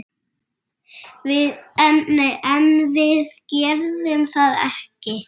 En við gerðum þetta ekki!